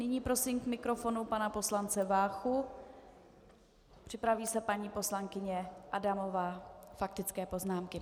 Nyní prosím k mikrofonu pana poslance Váchu, připraví se paní poslankyně Adamová, faktické poznámky.